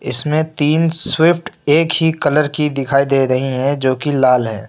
इसमें तीन स्विफ्ट एक ही कलर की दिखाई दे रही है जो की लाल है।